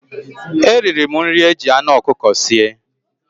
Eriri m nri e jị anụ ọkụkọ sie.